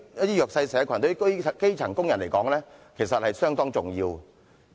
對弱勢社群及基層工人而言 ，4,000 元是相當重要的。